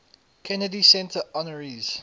kennedy center honorees